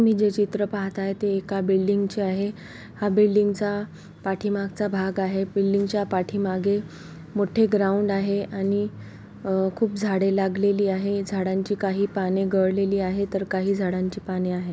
तुम्ही जे चित्र पाहातेयेत ते एका बिल्डिंग चे आहे हा बिल्डिंग चा पाठीमागचा भाग आहे बिल्डिंग च्या पाठीमागे मोठे ग्रॉऊंड आहे आणि खुप झाडे लागलेली आहे काही झाडांची पाने गळलेली तर काही झाडांची पाने आहे.